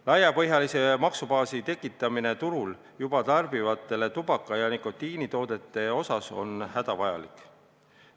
Laiapõhjalise maksubaasi tekitamine turul juba tarbitavatele tubaka- ja muudele nikotiinitoodetele on hädavajalik.